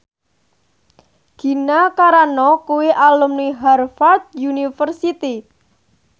Gina Carano kuwi alumni Harvard university